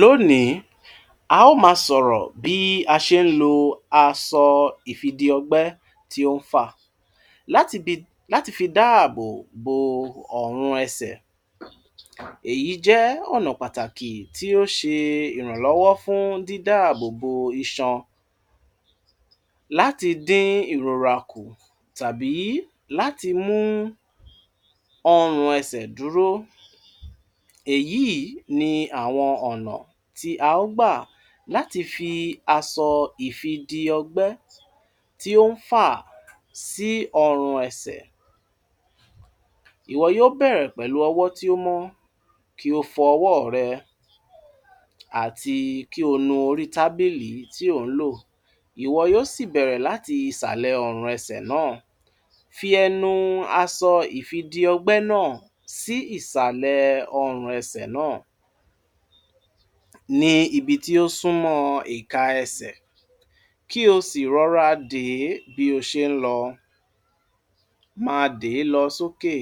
Lónìí a ó máa sọ̀rọ̀ bí a ṣe ń lo aṣọ ìfìdí ọgbẹ́ tí ó ń fà láti bí-- láti fi dáàbò bo ọ̀run ẹsẹ̀. Èyí jẹ́ ọ̀nà pàtàkì tí ó ṣe ìrànlọ́wọ́ fún dídáàbò bo iṣan láti dín ìròrà kù tàbí láti mú ọ̀run ẹsẹ̀ dúró. Èyí ni àwọn ọ̀nà tí a ó gbà láti fi aṣọ ìfìdí ọgbẹ́ tí ó ń fà sí ọ̀run ẹsẹ̀. Ìwọ yóò bẹ̀rẹ̀ pẹ̀lú ọwọ́ tí ó mọ́, kí ó fọ owó rẹ àti kí ó nu orí tábìlì tí ó ń lò. Ìwọ yóò sì bẹ̀rẹ̀ láti ìsàlẹ̀ ọ̀run ẹsẹ̀ náà fi ẹnu aṣọ ìfìdí ọgbẹ́ náà sí ìsàlẹ̀ ọ̀run ẹsẹ̀ náà ní ibi tí ó súnmọ́ ìka ẹsẹ̀, kí ó sì rọ̀rùn dè bí o ṣe ń lò. Máa dè lọ sókè